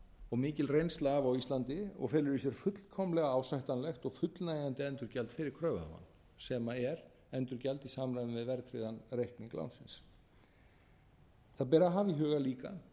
og mikil reynsla af á íslandi og felur í sér fullkomlega ásættanlegt og fullnægjandi endurgjald fyrir kröfuhafa sem er endurgjald í samræmi við verðtryggðan reikning lánsins það ber að hafa í huga líka